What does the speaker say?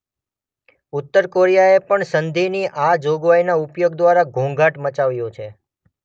ઉત્તર કોરિયાએ પણ સંધિની આ જોગવાઈના ઉપયોગ દ્વારા ઘોંઘાટ મચાવ્યો છે.